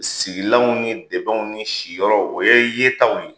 Sigilanw ni debɛnw ni si yɔrɔw o ye yetaw ye.